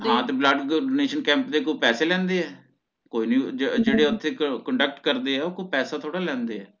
ਹਾਂ ਤੇ blood donation camp ਦੇ ਕੋਈ ਪੈਸੇ ਲੈਂਦੇ ਏ ਕੋਈ ਨੀ ਜੇ ਜੇ ਜਿਹੜੇ ਓਥੇ conduct ਕਰਦੇ ਆ ਓ ਕੋਈ ਪੈਸਾ ਥੋੜ੍ਹਾ ਲੈਂਦੇ ਆ